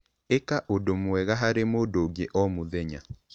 Ĩka ũndũ mwega harĩ mũndũ ũngĩ o mũthenya.